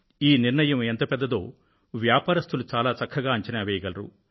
ఈ నిర్ణయం ఎంత పెద్దదో వ్యాపారస్తులు చాలా చక్కగా అంచనా వెయ్యగలరు